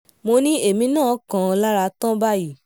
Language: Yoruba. mo ní èmi náà kàn án lára tán báyìí